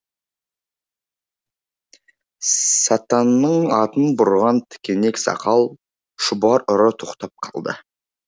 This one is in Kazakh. сатанның атын бұрған тікенек сақал шұбар ұры тоқтап қалды